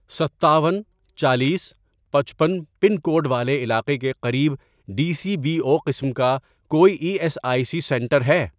ستاون، چالیس، پچپن، پن کوڈ والے علاقے کے قریب ڈی سی بی او قسم کا کوئی E S I C centre ہے؟